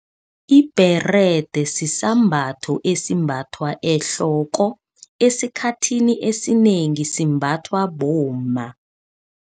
Ibherede sisambatho esimbathwa ehloko, esikhathini esinengi simbathwa bomma.